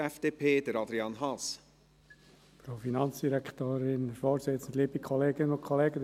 Die BDP-Fraktion ist auch da einstimmig für die 50-Prozent-Variante der FiKo-Mehrheit.